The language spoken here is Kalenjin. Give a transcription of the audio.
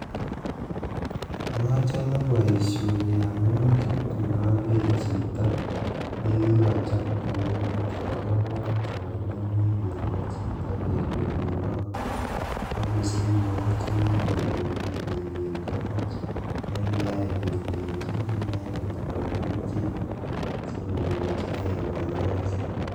Machome boisioni amun kitun ager chito nekikochop kouniton kowalak togoch nemekenoe chito kele ki ng'o agosich mook chekipolpolu peek en togoch nekiyach kelenchi inendet kwo kerichek si konyorchige kanyoiset